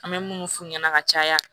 An bɛ munnu f'u ɲɛna ka caya